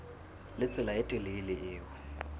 le tsela e telele eo